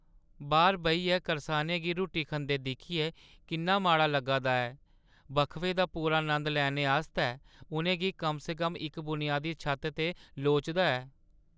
बाह्‌र बेहियै करसानें गी रुट्टी खंदे दिक्खियै किन्ना माड़ा लग्गा दा ऐ। वक्फे दा पूरा नंद लैने आस्तै उʼनें गी कम-स-कम इक बुनियादी छत्त ते लोड़दा ऐ।